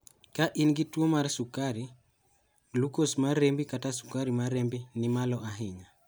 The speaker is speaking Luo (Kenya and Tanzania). ka in gi tuwo mar sukari, glucose mar rembi kata sukari mar rembi ni malo ahinya